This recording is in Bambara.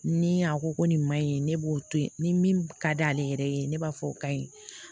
Ni a ko ko nin ma ɲi ne b'o to ye ni min ka d'ale yɛrɛ ye ne b'a fɔ o ka ɲi